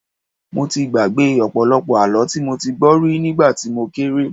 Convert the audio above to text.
Mo ti gbàgbé ọ̀pọ̀lọpọ̀ àlọ́ tí mo ti gbọ́ rí nígbà tí mo kéré